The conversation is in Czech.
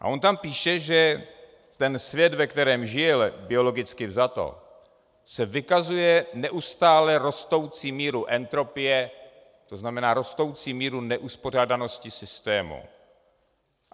A on tam píše, že ten svět, ve kterém žije, biologicky vzato, se vykazuje neustále rostoucí mírou entropie, to znamená rostoucí míru neuspořádanosti systému.